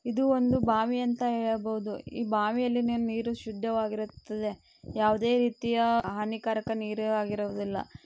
ಇದು ಒಂದು ಬಾವಿ ಅಂತಾ ಹೇಳಬಹುದು. ಈ ಬಾವಿಯಲ್ಲಿ ನೀ-ನೀರು ಶುದ್ಧವಾಗಿರುತ್ತದೆ ಯಾವದೇ ರೀತಿಯ ಹಾನಿಕಾರಕ ನೀರು ಆಗಿರುವುದಿಲ್ಲಾ.